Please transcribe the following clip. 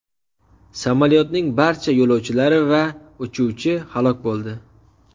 Samolyotning barcha yo‘lovchilari va uchuvchi halok bo‘ldi.